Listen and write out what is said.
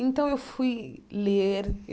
Então, fui ler.